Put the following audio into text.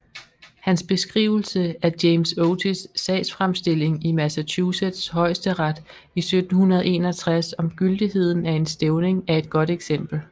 Hans beskrivelse af James Otis sagsfremstilling i Massachusetts højesteret i 1761 om gyldigheden af en stævning er et godt eksempel